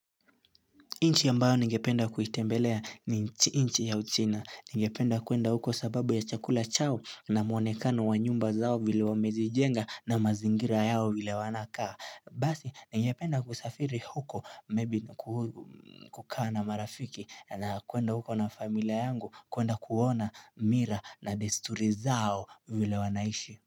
Inchi ya mbao ningependa kuitembelea ni inchi ya uchina. Ningependa kuenda huko sababu ya chakula chao na mwonekano wa nyumba zao vile wamezijenga na mazingira yao vile wanakaa. Basi ningependa kusafiri huko maybe kukaa na marafiki na kuenda huko na familia yangu kuenda kuona mira na desturi zao vile wanaishi.